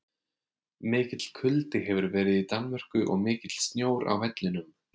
Mikill kuldi hefur verið í Danmörku og mikill snjór á vellinum.